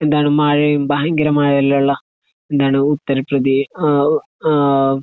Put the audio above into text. എന്താണ് മഴയും ഭയങ്കര മഴയെല്ലാമുള്ള എന്താണ് ഉത്തർ പ്രദേ ഏഹ് ഏഹ്